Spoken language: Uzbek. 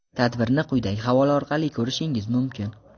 Tadbirni quyidagi havola orqali ko‘rishingiz mumkin.